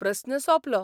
प्रस्न सोंपलो.